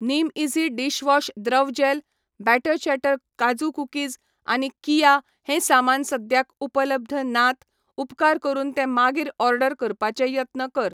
निमईझी dishwash द्रव gel, batter chatter काजू cookies आनी कीया हें सामान सद्याक उपलब्ध नात, उपकार करून ते मागीर ऑर्डर करपाचे यत्न कर.